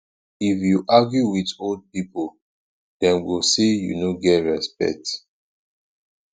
if you argue wit old pipo dem go sey you no get respect